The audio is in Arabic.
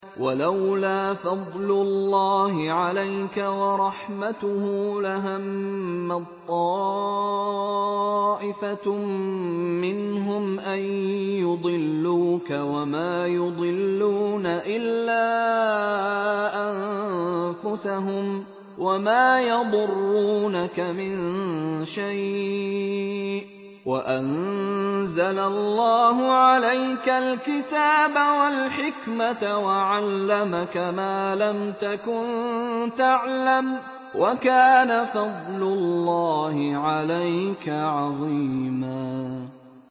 وَلَوْلَا فَضْلُ اللَّهِ عَلَيْكَ وَرَحْمَتُهُ لَهَمَّت طَّائِفَةٌ مِّنْهُمْ أَن يُضِلُّوكَ وَمَا يُضِلُّونَ إِلَّا أَنفُسَهُمْ ۖ وَمَا يَضُرُّونَكَ مِن شَيْءٍ ۚ وَأَنزَلَ اللَّهُ عَلَيْكَ الْكِتَابَ وَالْحِكْمَةَ وَعَلَّمَكَ مَا لَمْ تَكُن تَعْلَمُ ۚ وَكَانَ فَضْلُ اللَّهِ عَلَيْكَ عَظِيمًا